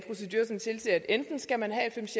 enten skal man